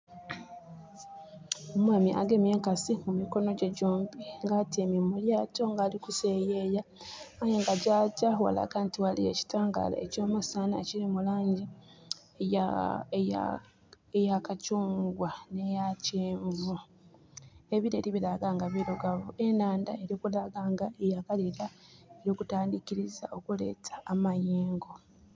Omwami agemye enkasi mu mikono gye gyombi. Nga atyaime mu lyaato nga ali kuseeyeya. Aye nga gyagya ghalaga nti ghaliyo ekitangaala eky'omusana ekili mu laangi eya eya eya kakyungwa nh'eya kyenvu. Ebileri bilaga nga birugavu. Enhandha eli kulaga nti yakaleeta, eli kutandhikiliza okuleeta amayengo.